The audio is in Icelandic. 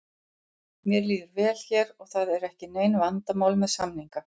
Mér líður vel hér og það eru ekki nein vandamál með samninga.